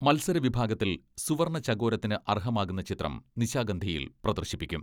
മത്സരവിഭാഗത്തിൽ സുവർണ്ണചകോരത്തിന് അർഹമാകുന്ന ചിത്രം നിശാഗന്ധിയിൽ പ്രദർശിപ്പിക്കും.